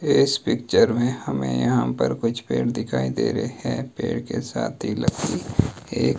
इस पिक्चर में हमें यहां पर कुछ पेड़ दिखाई दे रहे हैं पेड़ के साथ ही लकड़ी एक--